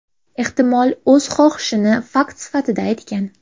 Ehtimol, o‘z xohishini fakt sifatida aytgan.